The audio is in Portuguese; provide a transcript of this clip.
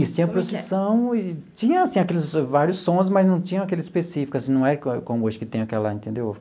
Isso, tinha procissão e tinha, assim, aqueles vários sons, mas não tinha aquele específico, assim, não era como hoje que tem aquela, entendeu?